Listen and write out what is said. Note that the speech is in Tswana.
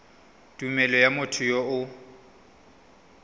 tumelelo ya motho yo o